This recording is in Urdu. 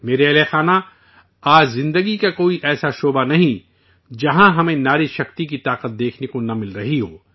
میرے ہم وطنو، آج زندگی کا کوئی ایسا شعبہ نہیں، جہاں ہمیں خواتین کی صلاحیت دیکھنے کو نہیں مل رہی ہو